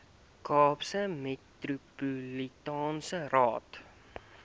kaapse metropolitaanse raad